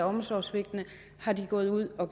omsorgssvigt er de gået ud og